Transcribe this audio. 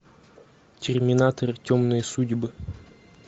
терминатор темные судьбы